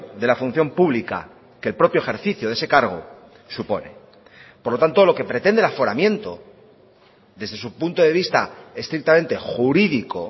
de la función pública que el propio ejercicio de ese cargo supone por lo tanto lo que pretende el aforamiento desde su punto de vista estrictamente jurídico